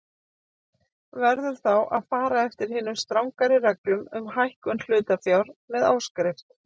Verður þá að fara eftir hinum strangari reglum um hækkun hlutafjár með áskrift.